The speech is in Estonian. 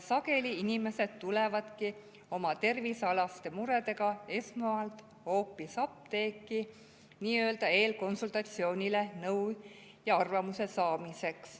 Sageli inimesed tulevadki oma tervisealaste muredega esmalt hoopis apteeki nii-öelda eelkonsultatsioonile nõu ja arvamuse saamiseks.